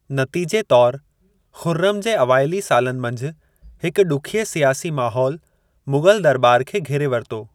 नतीजे तौरु, खुर्रम जे अवाइली सालनि मंझि हिक ॾुखिये सियासी माहौल मुग़ल दरॿार खे घेरे वरितो।